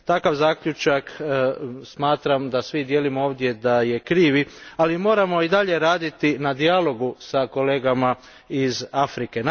Takav zaključak smatram da svi dijelimo ovdje da je krivi, ali moramo i dalje raditi na dijalogu s kolegama iz Afrike.